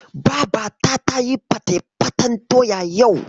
Babata tayi fatefaten doya yau.